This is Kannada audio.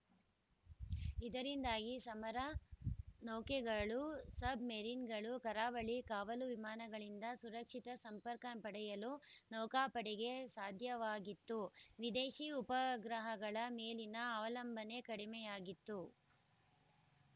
ಇದರಿಂದಾಗಿ ಸಮರ ನೌಕೆಗಳು ಸಬ್‌ಮರಿನ್‌ಗಳು ಕರಾವಳಿ ಕಾವಲು ವಿಮಾನಗಳಿಂದ ಸುರಕ್ಷಿತ ಸಂಪರ್ಕ ಪಡೆಯಲು ನೌಕಾಪಡೆಗೆ ಸಾಧ್ಯವಾಗಿತ್ತು ವಿದೇಶಿ ಉಪಗ್ರಹಗಳ ಮೇಲಿನ ಅವಲಂಬನೆ ಕಡಿಮೆಯಾಗಿತ್ತು